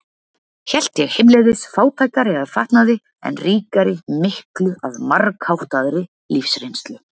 Hélt ég heimleiðis fátækari að fatnaði, en ríkari miklu að margháttaðri lífsreynslu.